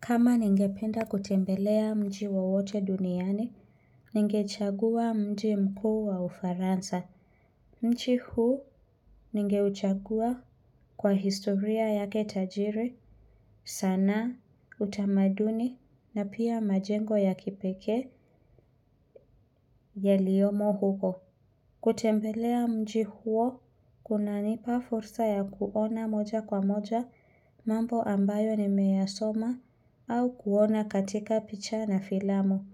Kama ningependa kutembelea mji wowote duniani, ningechagua mji mkuu wa ufaransa. Mji hu ningeuchagua kwa historia yake Tajiri, sana, utamaduni na pia majengo ya kipekee yaliyomo huko. Kutembelea mji huo, kunanipa fursa ya kuona moja kwa moja mambo ambayo ni meyasoma au kuona katika picha na filamu.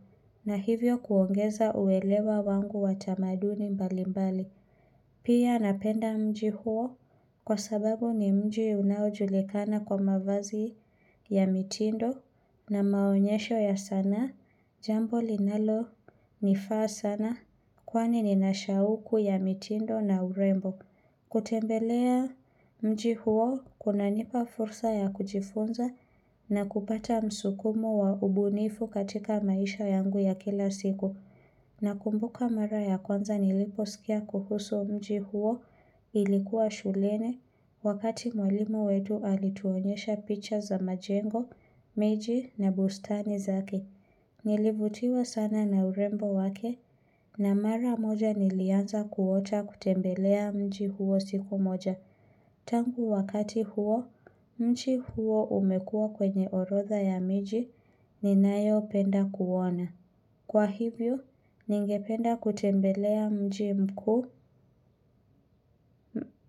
Na hivyo kuongeza uelewa wangu wa tamaduni mbali mbali. Pia napenda mji huo kwa sababu ni mji unaojulikana kwa mavazi ya mitindo na maonyesho ya sanaa. Jambo linalo nifaa sana kwani ninashauku ya mitindo na urembo. Kutembelea mji huo kunanipa fursa ya kujifunza na kupata msukumo wa ubunifu katika maisha yangu ya kila siku na kumbuka mara ya kwanza niliposkia kuhusu mji huo ilikuwa shulene wakati mwalimu wetu alituonyesha picha za majengo, meji na bustani zake Nilivutiwa sana na urembo wake na mara moja nilianza kuota kutembelea mji huo siku moja. Tangu wakati huo, mji huo umekua kwenye orotha ya miji ninayopenda kuona. Kwa hivyo, ningependa kutembelea mji mkuu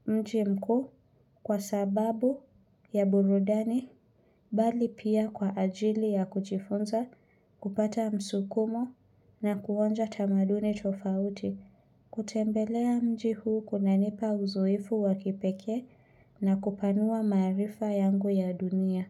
mji mkuu kwa sababu ya burudani bali pia kwa ajili ya kuchifunza, kupata msukumo na kuonja tamaduni tofauti, kutembelea mji huu kunanipa uzoefu wakipekee na kupanua maarifa yangu ya dunia.